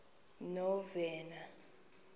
novena